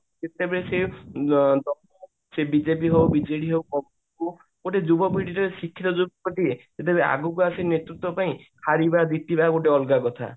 ସିଏ BJP ହଉ BJD ହଉ congress ହଉ ଗୋଟେ ଯୁବ ପିଢୀରେ ଶିକ୍ଷିତ ଯୁବକ ଟିଏ ଆଗକୁ ଅଶି ନେତୃତ୍ଵ ପାଇଁ ହାରିବା ଜିତିବା ଗୋଟେ ଅଲଗା କଥା